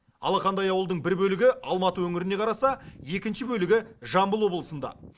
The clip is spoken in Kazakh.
алақандай ауылдың бір бөлігі алматы өңіріне қараса екінші бөлігі жамбыл облысында